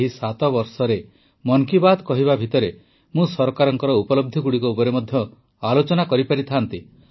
ଏହି ସାତ ବର୍ଷରେ ମନ୍ କି ବାତ୍ କହିବା ଭିତରେ ମୁଁ ସରକାରଙ୍କ ଉପଲବ୍ଧିଗୁଡ଼ିକ ଉପରେ ମଧ୍ୟ ଆଲୋଚନା କରିପାରିଥାଆନ୍ତି